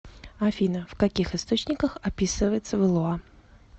афина в каких источниках описывается валуа